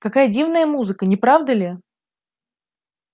какая дивная музыка не правда ли